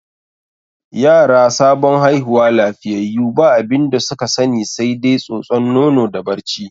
Yara sabon haihuwa lafiyayyu ba abinda su ka sani sai dai tsotson nono da barci.